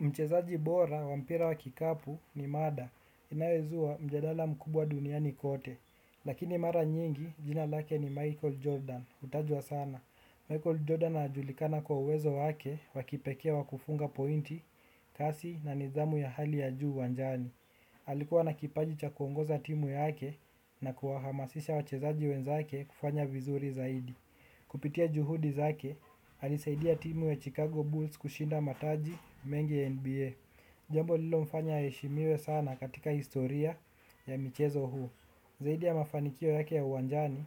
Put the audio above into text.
Mchezaji bora wa mpira wa kikapu ni mada inayozuwa mjadala mkubwa duniani kote. Lakini mara nyingi jina lake ni Michael Jordan. Hutajwa sana. Michael Jordan anajulikana kwa uwezo wake wakipekee wakufunga pointi, kasi na nidhamu ya hali ya juu wanjani. Alikuwa na kipaji cha kuongoza timu yake na kuwahamasisha wachezaji wenzake kufanya vizuri zaidi. Kupitia juhudi zake, alisaidia timu ya Chicago Bulls kushinda mataji mengi ya NBA. Jambo lilo mfanya aheshimiwe sana katika historia ya michezo huu. Zaidia ya mafanikio yake ya uwanjani,